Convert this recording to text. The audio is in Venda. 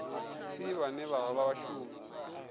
si vhane vha vha vhashumi